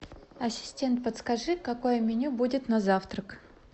ассистент подскажи какое меню будет на завтрак